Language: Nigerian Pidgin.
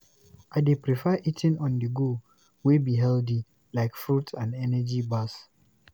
I dey prefer eating on-the-go wey be healthy, like fruits and energy bars.